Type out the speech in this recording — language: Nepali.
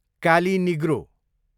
काली निग्रो